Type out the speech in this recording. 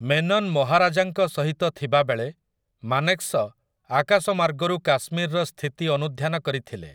ମେନନ୍ ମହାରାଜାଙ୍କ ସହିତ ଥିବାବେଳେ, ମାନେକ୍‌ଶ ଆକାଶମାର୍ଗରୁ କାଶ୍ମୀରର ସ୍ଥିତି ଅନୁଧ୍ୟାନ କରିଥିଲେ ।